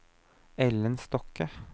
Ellen Stokke